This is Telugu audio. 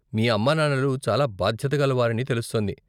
మీ అమ్మానాన్నలు చాలా బాధ్యతగల వారని తెలుస్తోంది.